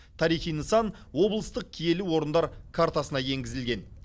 тарихи нысан облыстық киелі орындар картасына енгізілген